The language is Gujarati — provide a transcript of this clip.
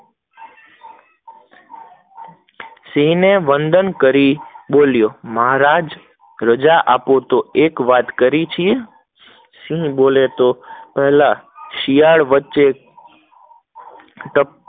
સિંહ ન એવંદન કરી બોલ્યો, મહારાજ રાજા આપો, તો એક વાત કરી છે, સિંહ બોલે તો પેહલા શિયાળ વચ્ચે